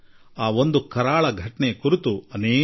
19 ತಿಂಗಳ ಕಾಲ ದೇಶ ಪ್ರಜಾಪ್ರಭುತ್ವದಿಂದ ದೇಶ ವಂಚಿತವಾಗಿತ್ತು